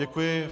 Děkuji.